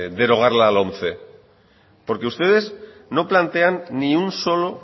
derogar la lomce porque ustedes